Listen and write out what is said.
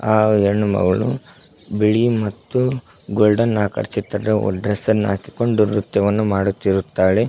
ಆ ಹೆಣ್ಣು ಮಗಳು ಬಿಳಿ ಮತ್ತು ಗೋಲ್ಡನ್ ಆಕಾರ ಚಿತ್ರದ ಡ್ರೆಸ್ ಅನ್ನ ಹಾಕಿಕೊಂಡು ನೃತ್ಯವನ್ನು ಮಾಡುತ್ತಿರುತ್ತಾಳೆ.